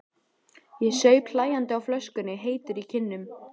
Ég saup hlæjandi á flöskunni, heitur í kinnum.